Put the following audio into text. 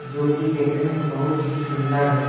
जो कि देखने में बहुत ही सुंदर है।